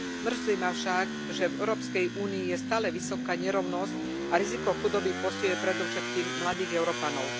Mrzí ma však, že v Európskej únii je stále vysoká nerovnosť a riziko chudoby postihuje predovšetkým mladých Európanov.